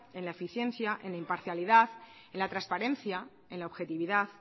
en la eficiencia en la imparcialidad en la transparencia en la objetividad